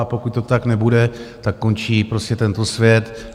A pokud to tak nebude, tak končí prostě tento svět.